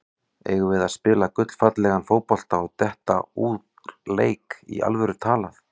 Eigum við að spila gullfallegan fótbolta og detta úr leik, í alvöru talað?